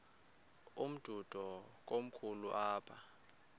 umdudo komkhulu apha